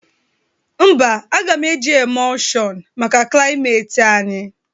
Mba, aga m eji emụlshọn maka klịameti anyị.